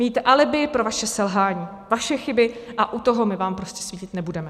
Mít alibi pro vaše selhání, vaše chyby a u toho my vám prostě svítit nebudeme.